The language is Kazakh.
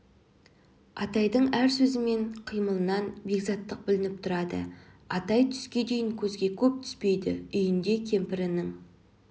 атайдың әр сөзі мен қимылынан бекзаттық білініп тұрады атай түске дейін көзге көп түспейді үйінде кемпірінің